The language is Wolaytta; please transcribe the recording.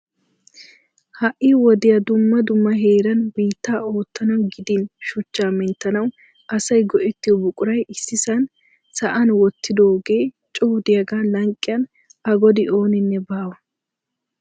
Ha'i wodiyaa dumma dumma heeran biitta oottanaw gidin shuchcha. menttanaw asaay go"ettiyo buquray issisan sa'an wottidooge coo diyaaga lanqqiyan a godi ooninne baawa